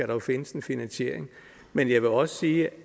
jo findes en finansiering men jeg vil også sige